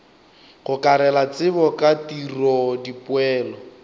gokarela tsebo ka tiro dipoelo